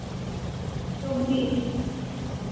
চব্বিশ